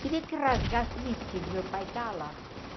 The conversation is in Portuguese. Queria que rasgasse o vestido, meu pai está lá.